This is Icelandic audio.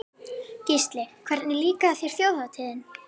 Gísli: Hvernig líkaði þér Þjóðhátíðin?